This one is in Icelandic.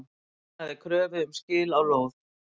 Hafnaði kröfu um skil á lóð